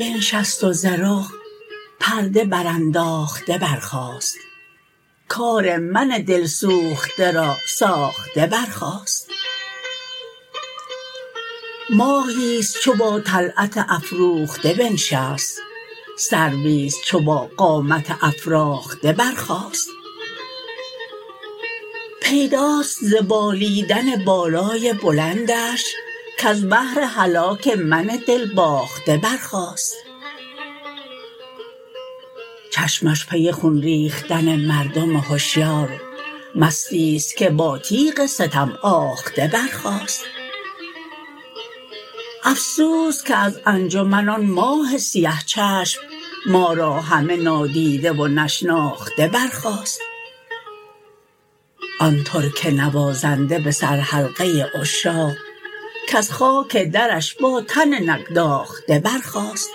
بنشست و ز رخ پرده برانداخته برخاست کار من دل سوخته را ساخته برخاست ماهی است چو با طلعت افروخته بنشست سروی است چو با قامت افراخته برخاست پیداست ز بالیدن بالای بلندش کز بهر هلاک من دلباخته برخاست چشمش پی خون ریختن مردم هشیار مستی است که با تیغ ستم آخته برخاست افسوس که از انجمن آن ماه سیه چشم ما را همه نادیده و نشناخته برخاست آن ترک نوازنده به سرحلقه عشاق کز خاک درش با تن نگداخته برخاست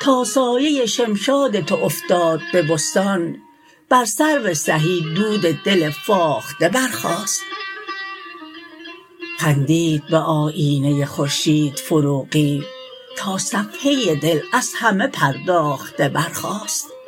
تا سایه شمشاد تو افتاد به بستان بر سرو سهی دود دل فاخته برخاست خندید به آیینه خورشید فروغی تا صفحه دل از همه پرداخته برخاست